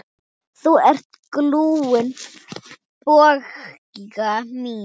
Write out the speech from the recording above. Þú ert glúrin, Bogga mín.